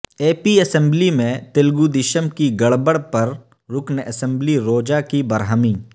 اے P assembly میں تلگودیشم کی گڑبڑ پر رکن اسمبلی روجا کی برہمی